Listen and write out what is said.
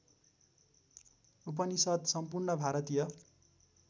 उपनिषद् सम्पूर्ण भारतीय